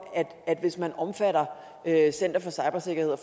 at hvis man omfatter center for cybersikkerhed og